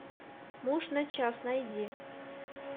муж на час найди